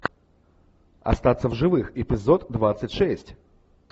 остаться в живых эпизод двадцать шесть